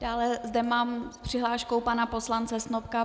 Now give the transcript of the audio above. Dále zde mám přihlášku pana poslance Snopka.